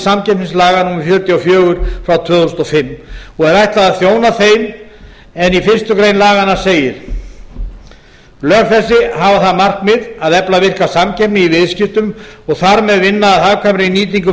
samkeppnislaga númer fjörutíu og fjögur tvö þúsund og fimm og er ætlað að þjóna þeim en í fyrstu grein laganna segir lög þessi hafa það markmið að efla virka samkeppni í viðskiptum og þar með vinna að hagkvæmri nýtingu